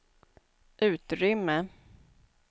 utrymme